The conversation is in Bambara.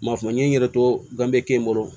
Ma fɔ n ye n yɛrɛ to gabe kɛ n bolo